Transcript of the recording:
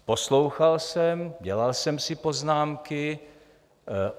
Poslouchal jsem, dělal jsem si poznámky.